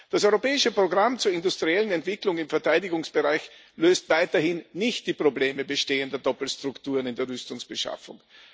Das Europäische Programm zur industriellen Entwicklung im Verteidigungsbereich löst weiterhin nicht die Probleme bestehender Doppelstrukturen in der Rüstungsbeschaffung.